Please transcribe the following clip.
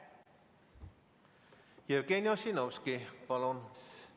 Jevgeni Ossinovski, palun!